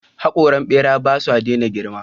Haƙoran ɓera ba sa daina girma.